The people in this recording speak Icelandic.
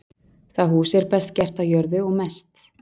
það hús er best gert á jörðu og mest